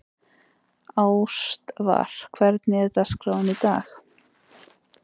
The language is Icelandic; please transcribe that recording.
Ástvar, hvernig er dagskráin í dag?